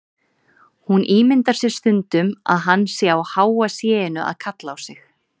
Hún ímyndar sér stundum að hann sé á háa sé-inu að kalla á sig.